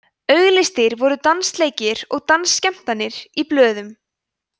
auglýstir voru dansleikir eða dansskemmtanir í blöðum